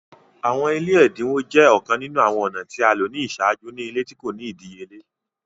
Awọn ile ẹdinwo jẹ ọkan ninu awọn ọna ti a lo ni iṣaaju ni ile ti ko ni idiyele.